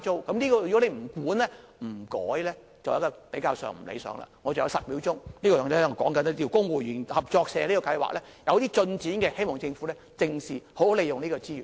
我還有10秒時間，我想說一說公務員合作社計劃，這計劃有些進展，希望政府正視，好好利用這個資源。